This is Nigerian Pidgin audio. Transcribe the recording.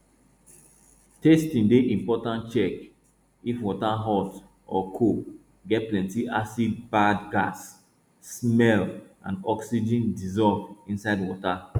testing dey important check if water hot or cold get plenty acid bad gas smell and oxygen dissolve inside water